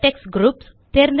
vertex groups